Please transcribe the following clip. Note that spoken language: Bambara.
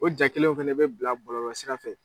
O jaa kelenw fana bɛ bila bɔlɔlɔ sira fɛ.